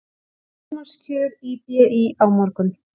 Formannskjör í BÍ á morgun